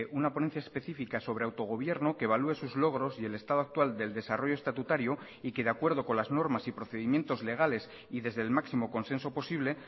una ponencia específica sobre autogobierno que evalúe sus logros y el estado actual del desarrollo estatutario y que de acuerdo con las normas y procedimientos legales y desde el máximo consenso posible